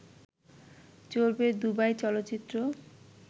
চলবে দুবাই চলচ্চিত্র